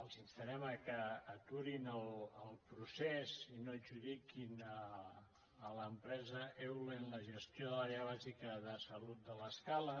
els instarem que aturin el procés i no adjudiquin a l’empresa eulen la gestió de l’àrea bàsica de salut de l’escala